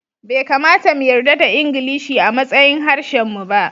Bai kamata mu yarda da Ingilishi a matsayin harshen mu ba